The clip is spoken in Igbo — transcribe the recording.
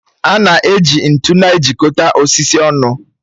A na-eji ntu na-ejikọta osisi ọnụ